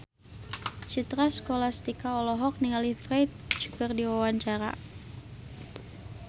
Citra Scholastika olohok ningali Ferdge keur diwawancara